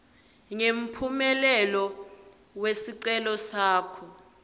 ngemphumela wesicelo sakho